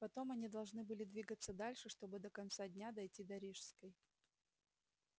потом они должны были двигаться дальше чтобы до конца дня дойти до рижской